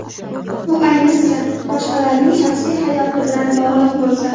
Bu ayniqsa, boshqalarning shaxsiy hayoti bilan bog‘liq bo‘lsa.